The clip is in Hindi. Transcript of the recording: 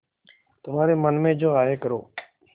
तुम्हारे मन में जो आये करो